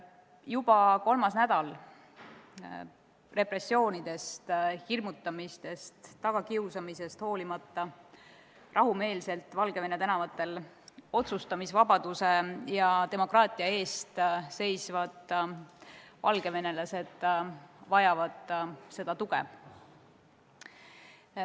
Juba kolmandat nädalat repressioonidest, hirmutamisest ja tagakiusamisest hoolimata rahumeelselt Valgevene tänavatel otsustamisvabaduse ja demokraatia eest seisvad valgevenelased vajavad tuge.